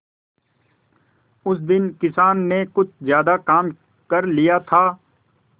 उस दिन किसान ने कुछ ज्यादा काम कर लिया था